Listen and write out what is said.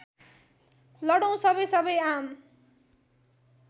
लडौँ सबैसबै आम